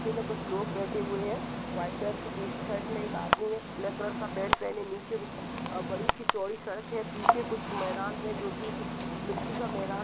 तस्वीर में कुछ लोग बैठे हुए हैं। वाइट कलर की टी शर्ट में एक आदमी है। ब्लैक कलर का पेन्ट पहने नीचे अब बड़ी सी चौड़ी सड़क है। पीछे कुछ मैदान है जो की स मिट्टी का मैदान --